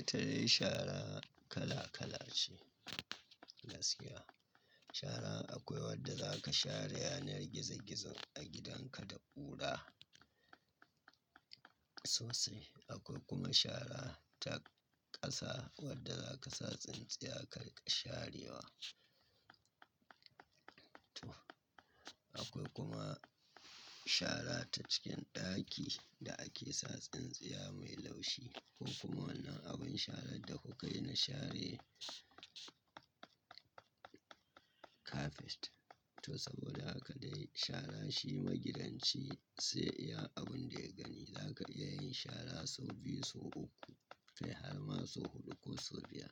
Itadai shara kala kala ce, gaskiya. Shara akwai wadda za ka share yanar gizo gizo a gidanka da ƙura sosai. Akwai kuma shara ta ƙasa wadda za ka sa tsintsiya karka sharewa. Akwai kuma shara ta cikin ɗaki da ake sa tsintsiya mai laushi. Ko kuma wannan abin sharan da kukai na share kafet. To saboda haka dai shara shi magidanci sai iya abun da ya gani. Zaka iya yin shara sau biyu, sau uku, kai har ma sau huɗu ko sau biyar.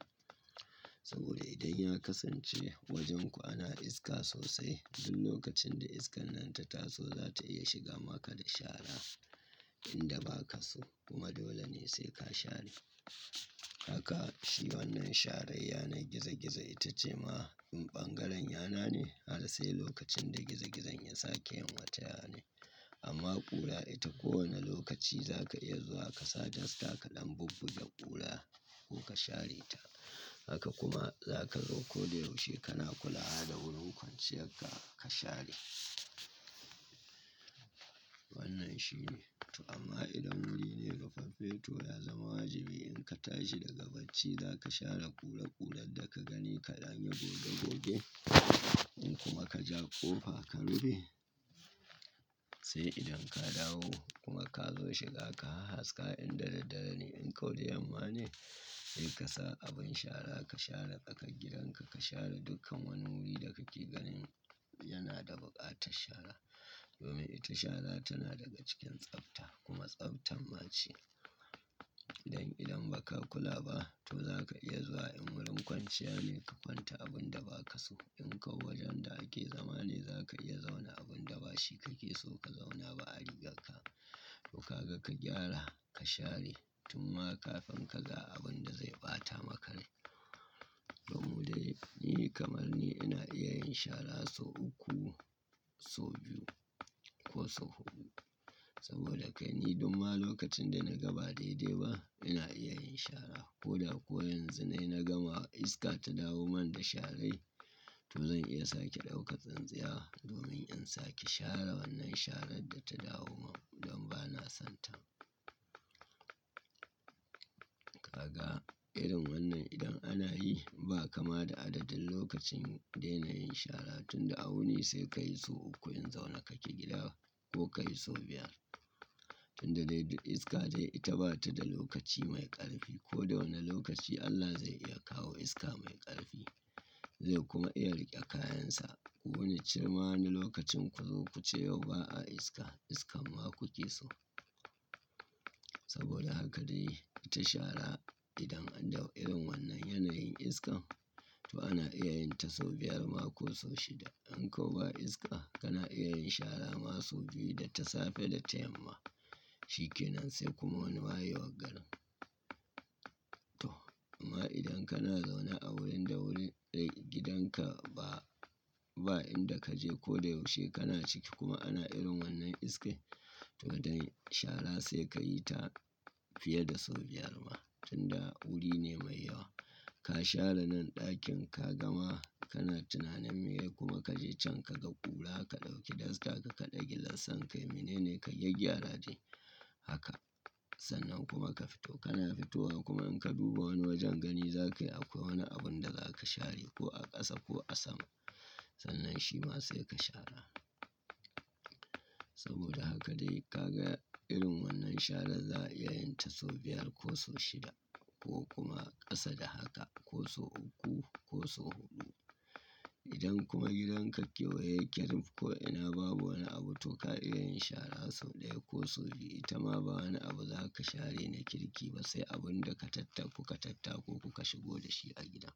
Saboda idan ya kasance wajenku ana iska sosai, duk lokacin da iskan nan ta taso za ta iya shiga maka da shara inda ba ka so kuma dole ne sai ka share. Haka shi wannan shara yanar gizo gizo ita ce ma in ɓangaren yana ne, har sai lokacin da gizo gizon ya sake yin wata yanai. Amma ƙura ita ko wane lokaci za ka iya zuwa ka sa dasta ka dam bubbuge ƙura ko ka share ta. Haka kuma za ka zo ko da yaushe kana kula da wurin kwanciyarka ka share. Wannan shine. To amma idan wuri ne rufaffe to ya zama wajibi in ka tashi daga bacci za ka share ƙura ƙurar da ka gani ka danyi goge goge. In kuma ka ja ƙofa ka rufe, sai idan ka dawo kuma ka zo shiga ka hahaska inda dadddara ne in kau da yamma ne, sai ka sa abin shara ka share tsakar gidanka. Ka share dukkan wani wuri da ka ke ganin yana da buƙatar shara. Domin ita shara tana daga cikin tsafta kuma tsaftan ma ce. Idan idan ba ka kula ba to za ka iya zuwa in wurin kwanciya ne ka kwanta abun da ba ka so in kau wajen da ake zama ne za ka iya zauna abun da ba shi kake so ka zauna ba a rigarka. Ku ka ga ka gyara, ka share tun ma kafin ka ga abun da zai ɓata maka rai. Domin dai ni kamar ni ina iya yin shara sau uku, sau biyu ko sau huɗu. Saboda kai ni dumma lokacin da na gaba daidai ba ina iya yin shara. Ko da kuwa yanzu nayi nagama iska ta dawo man da sharai to zan iya sake ɗauka tsintsiya domin in sake share wannan sharan da ta dawo man don ba na son ta. Ka ga irin wannan idan ana yi ba kama da adadin lokacin dena yin shara tunda awuni sai ka yi sau uku in zauna kake gida ko ka yi sau biyar. Tunda dai iska dai ita ba ta da lokaci mai ƙarfi ko da wane lokaci Allah zai iya kawo iska mai ƙarfi. Zai kuma iya riƙe kayansa. Ku wani cema wani lokacin ku zo ku ce yau ba a iska, iskan ma kuke so. Saboda haka dai ita shara idan an dau irin wannan yanayin iskan to ana iya yin ta sau biyar ma ko sau shida. In kau ba iska kana iya yin shara ma sau biyu da ta safe da ta yamma. Shikenan sai kuma wani wayewa garin. To amma idan kana zaune a wurin da wurin dai gidanka ba, ba inda kaje ko da yaushe kana ciki kuma ana irin wannan iskar to dai shara sai ka yi ta fiye da sau biyar ma. Tunda wuri ne mai yawa. Ka share nan ɗakin ka gama kana tunanin me ya yi kuma kaje can ka ga ƙura ka ɗauki dasta ka kakade gilas din kai mene ne ka yi gyagyara dai. Haka. Sannan kuma ka fito. Kana fitowa kuma in ka duba wani wajen gani zakayi akwai wani abun da za ka share ko a ƙasa ko a sama. Sannan shi ma sai ka share. Saboda haka dai ka ga irin wannan shara za a iya yin ta sau biyar ko sau shida ko kuma ƙasa da haka ko sau uku ko sau huɗu. Idan kuma gidanka kewaye yake rimf ko ina babu wani abu to ka iya yin shara sau ɗaya ko sau biyu. Ita ma ba wani abu za ka share ne kirki ba sai abun da ka tattaku ka tattako ku ka shigo da shi a gida.